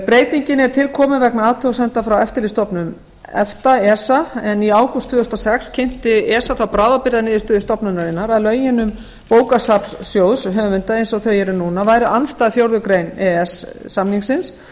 breytingin er til komin vegna athugasemda frá eftirlitsstofnun efta esa en í ágúst tvö þúsund og sex kynnti esa þá bráðabirgðaniðurstöðu stofnunarinnar að lögin um bókasafnssjóð höfunda eins og þau eru núna væru andstæð fjórðu grein e e s samningsins